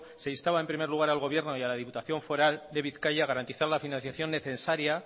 se instaba en primer lugar al gobierno y a la diputación foral de bizkaia garantizar la financiación necesaria